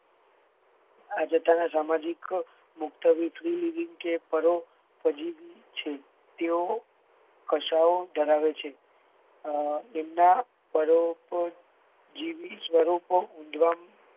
આ જથ્થા ને સામાજિક મુક્તવી કે priliving પરોપજીવી છે તેઓ કશાઓ ધરાવે છે અ એમના પરોપજીવી સ્વરૂપો ઉદ્ધમ